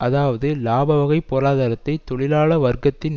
அதாவது இலாபவகை பொருளாதாரத்தை தொழிலாள வர்க்கத்தின்